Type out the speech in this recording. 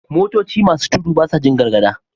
Motoci masu tudu basa Jin gargada